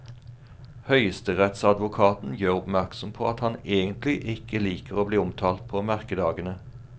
Høyesterettsadvokaten gjør oppmerksom på at han egentlig ikke liker å bli omtalt på merkedagene.